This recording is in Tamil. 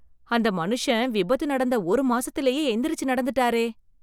அந்த மனுஷன் விபத்து நடந்த ஒரு மாசத்திலேயே எந்திரிச்சு நடந்துட்டாரே!